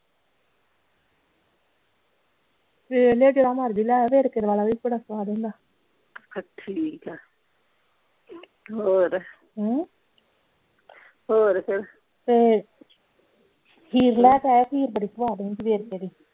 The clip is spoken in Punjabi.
ਵੇਖ ਲੀਓ ਜਿਹੜਾ ਮਰਜੀ ਲਈ ਆਈਓ ਵੇਰਕੇ ਵਾਲਾਂ ਵੀ ਬੜਾ ਸਵਾਦ ਹੁੰਦਾ ਠੀਕ ਆ ਹੋਰ ਹਮ ਹੋਰ ਫੇਰ ਤੇ ਖੀਰ ਲਈ ਕੇ ਆਈਓ ਖੀਰ ਬੜੀ ਸਵਾਦ ਹੁੰਦੀ ਵੇਰਕੇ ਦੀ।